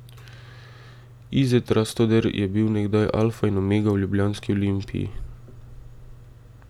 Izet Rastoder je bil nekdaj alfa in omega v ljubljanski Olimpiji.